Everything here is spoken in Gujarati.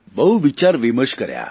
બહુ વિચારવિમર્શ કર્યો